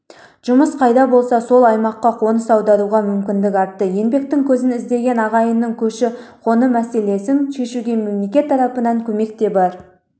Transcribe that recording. жұмыс қайда болса сол аймаққа қоныс аударуға мүмкіндік артты еңбектің көзін іздеген ағайынның көші-қон мәселесін шешуге мемлекет тарапынан көмек те бар